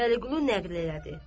Vəliqulu nəql elədi.